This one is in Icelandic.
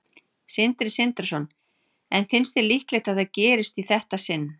Sindri Sindrason: En finnst þér líklegt að það gerist í þetta sinn?